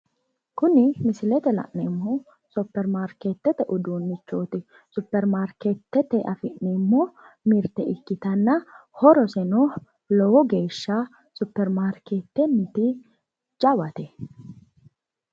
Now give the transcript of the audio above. kuni misilete la'neemmohu supermarkeetete uduunnichooti, supermarkeetete afi'neemmo mirte ikkitanna horoseno lowo geeshsha supermarkeetenniti jawate.